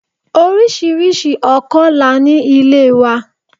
Oríṣiríṣi ọkọ la ní ilé wa.